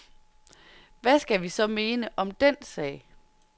Hvad skal vi så mene om den sag?